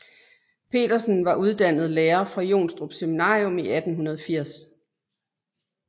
Petersen var uddannet lærer fra Jonstrup Seminarium i 1840